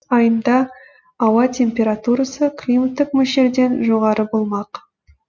айында ауа температурасы климаттық мөлшерден жоғары болмақ